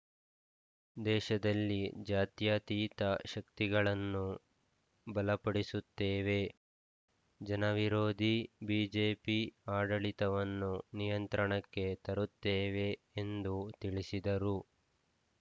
ದೇಶದಲ್ಲಿ ಜಾತ್ಯತೀತ ಶಕ್ತಿಗಳನ್ನು ಬಲಪಡಿಸುತ್ತೇವೆ ಜನವಿರೋಧಿ ಬಿಜೆಪಿ ಆಡಳಿತವನ್ನು ನಿಯಂತ್ರಣಕ್ಕೆ ತರುತ್ತೇವೆ ಎಂದು ತಿಳಿಸಿದರು